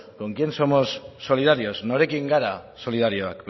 con quién somos solidarios norekin gara solidarioak